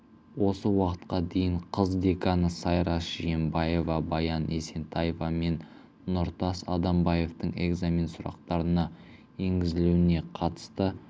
осы уақытқа дейін қыз деканы сайраш жиенбаева баян есентаева мен нұртас адамбаевтың экзамен сұрақтарына енгізілуіне қатысты